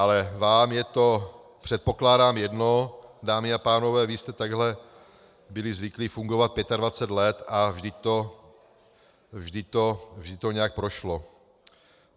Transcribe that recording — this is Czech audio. Ale vám je to, předpokládám, jedno, dámy a pánové, vy jste takhle byli zvyklí fungovat 25 let a vždy to nějak prošlo.